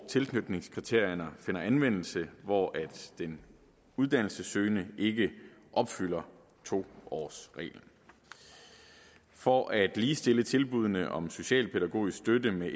tilknytningskriterierne finder anvendelse hvor den uddannelsessøgende ikke opfylder to årsreglen for at ligestille tilbuddene om socialpædagogisk støtte med